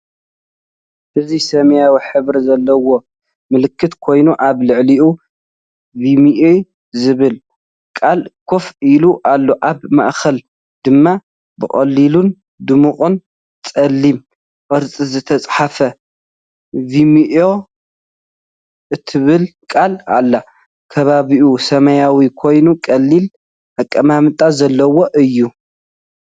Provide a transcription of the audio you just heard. እዚ ሰማያዊ ሕብሪ ዘለዎ ምልክት ኮይኑ ኣብ ልዕሊኡ “ቪሜኦ” ዝብል ቃል ኮፍ ኢሉ ኣሎ። ኣብ ማእከል ድማ ብቐሊልን ድሙቕን ጸሊም ቅርጺ ዝተጻሕፈት “ቪሜኦ” እትብል ቃል ኣላ። ከባቢኡ ሰማያዊ ኮይኑ ቀሊል ኣቀማምጣ ዘለዎ እዩ።